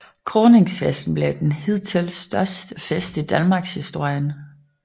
Kroningsfesten blev den hidtil største fest i Danmarkshistorien